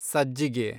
ಸಜ್ಜಿಗೆ